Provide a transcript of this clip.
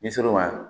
N'i sera o ma